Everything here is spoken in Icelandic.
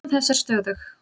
Líðan þess er stöðug.